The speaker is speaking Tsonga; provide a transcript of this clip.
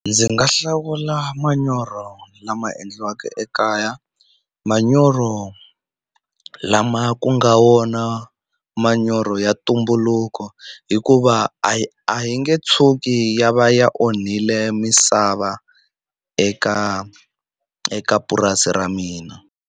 Ndzi nga hlawula manyoro lama endliwaka ekaya manyoro lama ku nga wona manyoro ya ntumbuluko hikuva a yi a yi nge tshuki ya va ya onhile misava eka eka purasi ra mina.